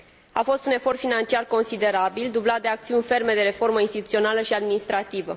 A fost un efort financiar considerabil, dublat de acțiuni ferme de reformă instituțională și administrativă.